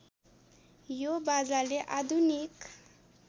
यो बाजाले आधुनिक